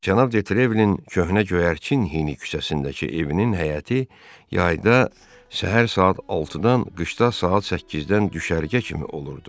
Cənab Detrevlin köhnə göyərçin hini küçəsindəki evinin həyəti yayda səhər saat 6-dan qışda saat 8-dən düşərgə kimi olurdu.